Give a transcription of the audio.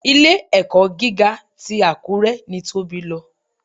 Ilé-ẹ̀kọ́ gíga ti Àkúré ni Tóbi lọ.